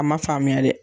A ma faamuya dɛ